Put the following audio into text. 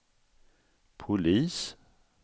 polis